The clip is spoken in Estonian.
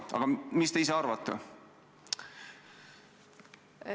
Aga mis te ise arvate?